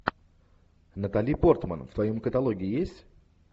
натали портман в твоем каталоге есть